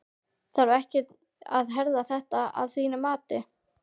Þarf ekkert að herða þetta að þínu mati?